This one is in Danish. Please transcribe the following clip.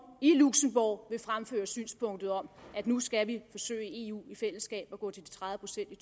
i luxembourg vil fremføre synspunktet om at nu skal vi forsøge i eu i fællesskab at gå til de tredive procent i